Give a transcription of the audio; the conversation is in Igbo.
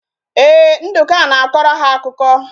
Ee, Nduka na-akọrọ ha akụkọ